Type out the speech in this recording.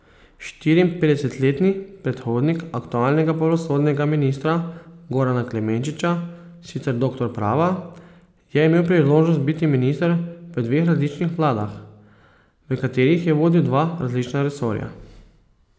Štiriinpetdesetletni predhodnik aktualnega pravosodnega ministra Gorana Klemenčiča, sicer doktor prava, je imel priložnost biti minister v dveh različnih vladah, v katerih je vodil dva različna resorja.